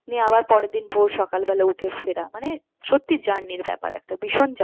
নিয়ে আবার পরের দিন ভোর সকাল বেলা উঠে ফেরার মানে সত্যি journey র ব্যাপার একটা ভীষণ journey